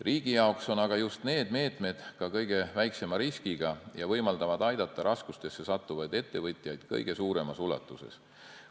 Riigi jaoks on aga just need meetmed kõige väiksema riskiga ja võimaldavad aidata raskustesse sattuvaid ettevõtjaid kõige suuremas ulatuses.